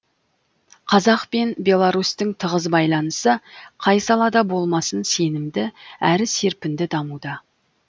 қазақ пен беларусьтің тығыз байланысы қай салада болмасын сенімді әрі серпінді дамуда